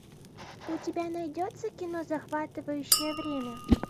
у тебя найдется кино захватывающее время